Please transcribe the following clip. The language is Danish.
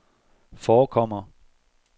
forekommer